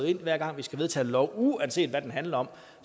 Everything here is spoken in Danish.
at hver gang vi skal vedtage en lov uanset hvad den handler om